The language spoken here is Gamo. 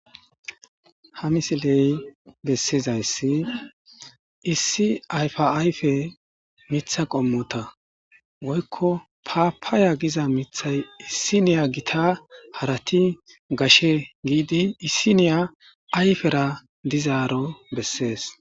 Ha missile besida issi ayfa ayfa mitha qomota woykko papaya gidda mithay gidda harati gita keehi giddidi issiniya ayfe ayifiyara dizaro beeses.